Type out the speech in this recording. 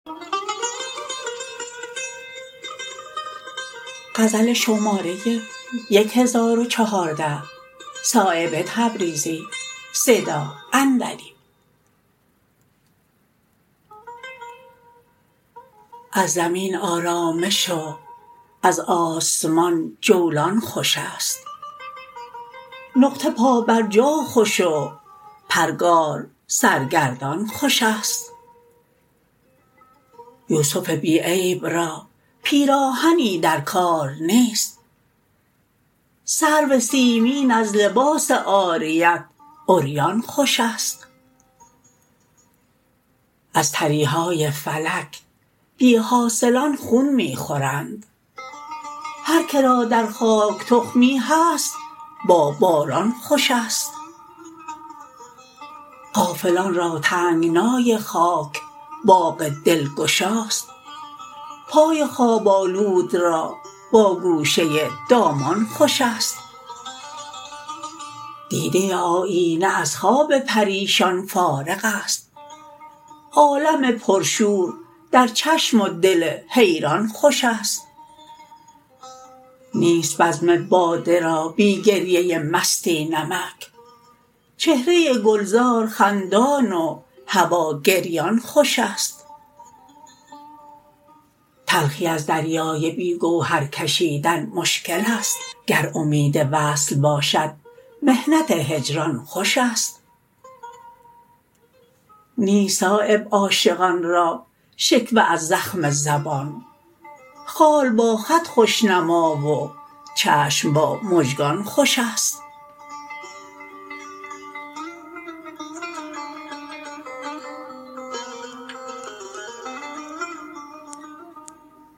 از زمین آرامش و از آسمان جولان خوش است نقطه پا بر جا خوش و پرگار سرگردان خوش است یوسف بی عیب را پیراهنی در کار نیست سرو سیمین از لباس عاریت عریان خوش است از تریهای فلک بی حاصلان خون می خورند هر که را در خاک تخمی هست با باران خوش است غافلان را تنگنای خاک باغ دلگشاست پای خواب آلود را با گوشه دامان خوش است دیده آیینه از خواب پریشان فارغ است عالم پرشور در چشم و دل حیران خوش است نیست بزم باده را بی گریه مستی نمک چهره گلزار خندان و هوا گریان خوش است تلخی از دریای بی گوهر کشیدن مشکل است گر امید وصل باشد محنت هجران خوش است نیست صایب عاشقان را شکوه از زخم زبان خال با خط خوشنما و چشم با مژگان خوش است